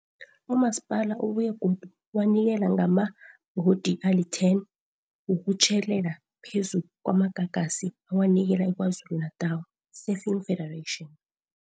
UMasipala ubuye godu wanikela ngamabhodi ali-10 wokutjhelela phezu kwamagagasi awanikela i-KwaZulu-Natal Surfing Federation.